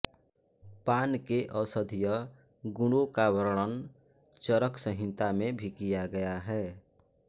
पान के औषधीय गुणों का वर्णन चरक संहिता में भी किया गया है